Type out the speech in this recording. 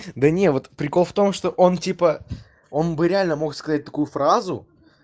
да не вот прикол в том что он типа он бы реально мог сказать такую фразу